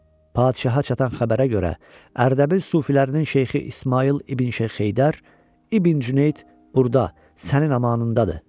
Padşaha çatan xəbərə görə, Ərdəbil sufilərinin Şeyxi İsmayıl İbn Şeyx Heydər, İbn Cüneyd burada sənin amanındadır.